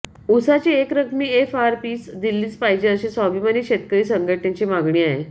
उसाची एकरकमी एफआरपी दिलीच पाहिजे अशी स्वाभिमानी शेतकरी संघटनेची मागणी आहे